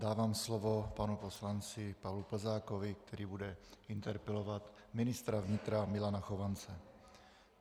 Dávám slovo panu poslanci Pavlu Plzákovi, který bude interpelovat ministra vnitra Milana Chovance.